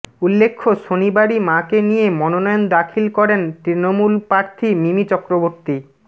উল্লেখ্য শনিবারই মাকে নিয়ে মনোনয়ন দাখিল করেন তৃণমূল প্রার্থী মিমি চক্রবর্তী